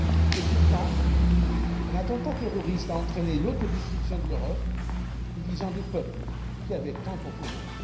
Et pourtant, un attentat terroriste a entraîné l'autodestruction de l'Europe, divisant des peuples qui avaient tant en commun.